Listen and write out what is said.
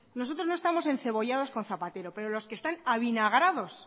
nosotros no estamos encebollados con zapatero pero los que están avinagrados